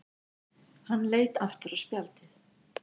Hann leit aftur á spjaldið.